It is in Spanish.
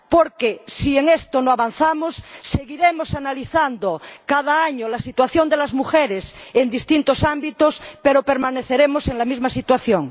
Porque, si en esto no avanzamos, seguiremos analizando cada año la situación de las mujeres en distintos ámbitos pero permaneceremos en la misma situación.